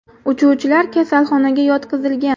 Uchuvchilar kasalxonaga yotqizilgan.